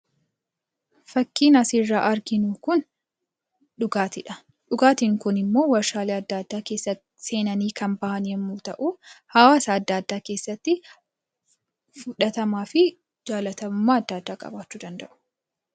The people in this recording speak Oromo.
Fakkiin asirraa arginu kun dhugaatiidha. Dhugaatiin kunimmoo waarshaalee adda addaa keessatti seenanii kan bahan yommuu ta'u, hawaasa adda addaa keessatti fudhatamaafi jaalatamummaa adda addaa qabaachuu danda'u.